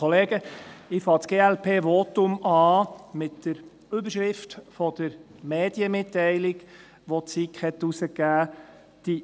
Ich beginne das Glp-Votum mit der Überschrift der Medienmitteilung, welche die SiK publizierte: